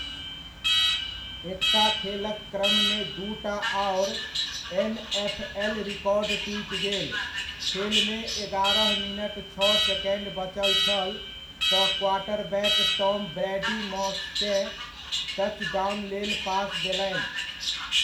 एकटा खेलक क्रममे दूटा आओर एनएफएल रिकॉर्ड टूटि गेल, खेलमे एगारह मिनट छओ सेकण्ड बचल छल तऽ क्वार्टरबैक टॉम ब्रैडी मॉस केँ टचडाउन लेल पास देलनि।